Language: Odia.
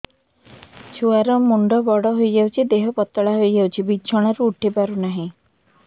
ଛୁଆ ର ମୁଣ୍ଡ ବଡ ହୋଇଯାଉଛି ଦେହ ପତଳା ହୋଇଯାଉଛି ବିଛଣାରୁ ଉଠି ପାରୁନାହିଁ